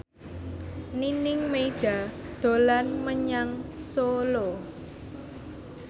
Nining Meida dolan menyang Solo